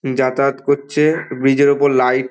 যাতায়াত করছে। ব্রিজের -এর ওপর লাইট ।